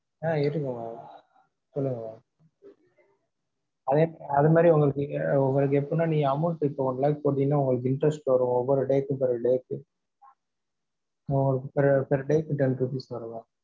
ஆஹ் இருக்கு mam சொல்லுங்க mam அதே அது மாதிரி உங்களுக்கு அஹ் உங்களுக்கு எப்படின்னா amount டு இப்போ ஒரு one lakh போட்டிங்கனா, உங்களுக்கு interest வரும் ஒவ்வொரு days by days சு அஹ் உங்களுக்கு per per days கு ten rupees வரலாம்.